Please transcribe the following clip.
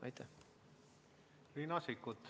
Riina Sikkut.